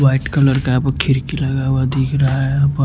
white colour का यहां प खिड़की लगा हुआ दिख रहा है व--